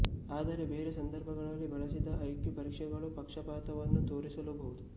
ಆದರೆ ಬೇರೆ ಸಂದರ್ಭಗಳಲ್ಲಿ ಬಳಸಿದಾಗ ಐಕ್ಯೂ ಪರೀಕ್ಷೆಗಳು ಪಕ್ಷಪಾತವನ್ನು ತೋರಿಸಲೂ ಬಹುದು